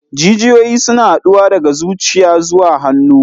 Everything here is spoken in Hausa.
Jijiyoyi suna haɗowa daga zuciya zuwa hannu.